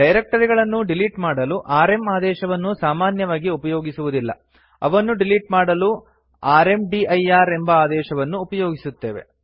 ಡೈರಕ್ಟರಿಗಳನ್ನು delete ಮಾಡಲು RM ಆದೇಶವನ್ನು ಸಾಮಾನ್ಯವಾಗಿ ಉಪಯೋಗಿಸುವುದಿಲ್ಲ ಅವನ್ನು ಡಿಲಿಟ್ ಮಾಡಲು ರ್ಮದಿರ್ ಎಂಬ ಆದೇಶವನ್ನು ಉಪಯೋಗಿಸುತ್ತೇವೆ